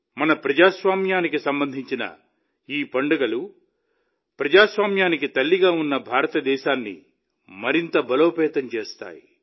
మన ప్రజాస్వామ్యానికి సంబంధించిన ఈ పండుగలు ప్రజాస్వామ్యానికి తల్లిగా ఉన్న భారతదేశాన్ని మరింత బలోపేతం చేస్తాయి